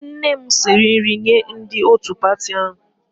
Nne m siri nri nye ndị otu pati ahụ